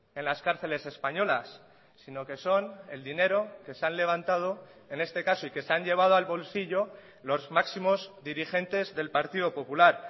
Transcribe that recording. en las cárceles españolas sino que son el dinero que se han levantado en este caso y que se han llevado al bolsillo los máximos dirigentes del partido popular